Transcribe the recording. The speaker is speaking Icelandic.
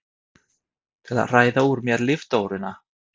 Til að hræða úr mér líftóruna?